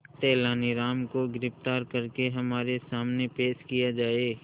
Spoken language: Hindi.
तेनालीराम को गिरफ्तार करके हमारे सामने पेश किया जाए